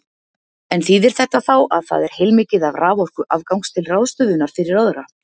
En þýðir þetta þá að það er heilmikið af raforku afgangs til ráðstöfunar fyrir aðra?